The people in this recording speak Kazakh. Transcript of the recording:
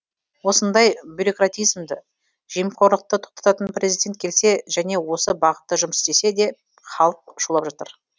осындай бюрократизмді жемқорлықты тоқтататын президент келсе және осы бағытта жұмыс істесе деп халық шулап жатыр